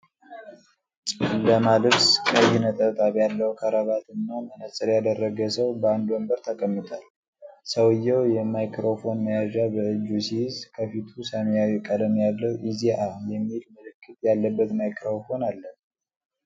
ጨለማ ልብስ፣ ቀይ ነጠብጣብ ያለው ክራባትና መነጽር ያደረገ ሰው በአንድ ወንበር ተቀምጧል። ሰውዬው የማይክሮፎን መያዣ በእጁ ሲይዝ፣ ከፊቱ ሰማያዊ ቀለም ያለው “ኢ.ዜ.አ” የሚል ምልክት ያለበት ማይክሮፎን አለ።